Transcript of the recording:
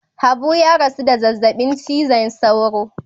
Habu ya rasu da zazzabin cizon sauro.